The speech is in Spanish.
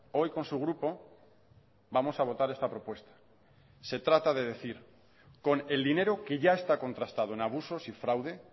hoy con su grupo vamos a votar esta propuesta se trata de decir con el dinero que ya está contrastado en abusos y fraude